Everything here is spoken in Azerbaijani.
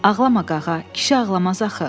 Ağlama, Qağa, kişi ağlamaz axı.